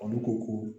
Olu ko ko